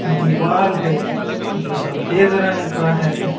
दीवाल है जो सफेद रंग का है।